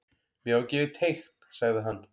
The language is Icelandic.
Mér var gefið teikn sagði hann.